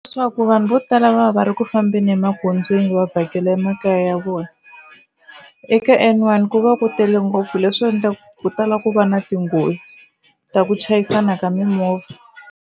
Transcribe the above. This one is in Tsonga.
Swa ku vanhu vo tala va va va ri ku fambeni emagondzweni va vhakela emakaya ya vona eka N one ku va ku tele ngopfu leswi endlaka ku tala ku va na tinghozi ta ku chayisana ka mimovha.